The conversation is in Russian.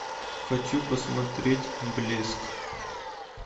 хочу посмотреть блеск